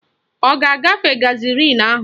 Ọ ga-agafe garịzịn ahụ?